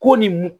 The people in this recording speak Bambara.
Ko nin